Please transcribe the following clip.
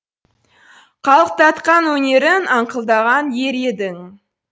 қалықтатқан өнерін аңқылдаған ер едің